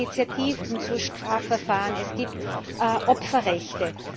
Es gibt nun Initiativen zu Strafverfahren, es gibt Opferrechte.